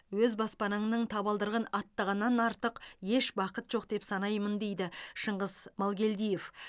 өз баспанаңның табалдырығын аттағаннан артық еш бақыт жоқ деп санаймын дейді шынғыс малгелдиев